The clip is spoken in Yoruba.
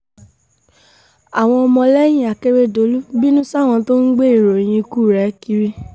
àwọn ọmọlẹ́yìn akérèdọ́lù bínú sáwọn tó ń gbé ìròyìn ikú rẹ̀ kiri